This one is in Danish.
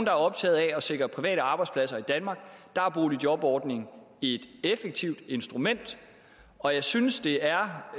er optaget af at sikre private arbejdspladser i danmark og der er boligjobordningen et effektivt instrument og jeg synes det er